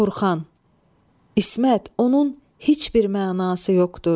Orxan, İsmət, onun heç bir mənası yoxdur.